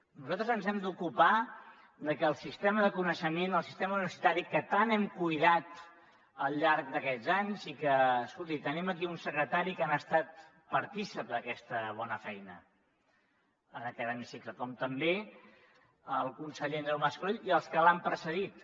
nosaltres ens hem d’ocupar de que el sistema de coneixement el sistema universitari que tant hem cuidat al llarg d’aquests anys i que escolti tenim aquí un secretari que n’ha estat partícip d’aquesta bona feina en aquest hemicicle com també el conseller andreu mas colell i els que l’han precedit